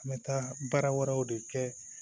An bɛ taa baara wɛrɛw de kɛ